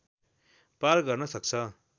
पार गर्न सक्छ